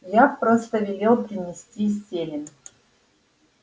я просто велел принести селен